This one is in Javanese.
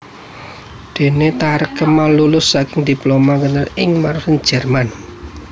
Dene Thareq Kemal lulus saking Diploma Inggeneur ing Braunsweig Jerman